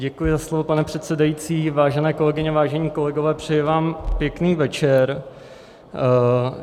Děkuji za slovo, pane předsedající, vážené kolegyně, vážení kolegové, přeji vám pěkný večer.